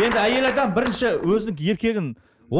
енді әйел адам бірінші өзінің еркегін